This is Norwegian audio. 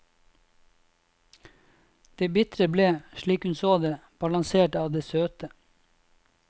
Det bitre ble, slik hun så det, balansert av det søte.